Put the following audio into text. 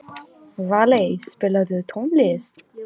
Valey, spilaðu tónlist.